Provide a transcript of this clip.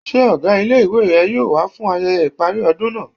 Ṣé ọgá ilé-ìwé rẹ yóò wá fún ayẹyẹ ìparí ọdún náà?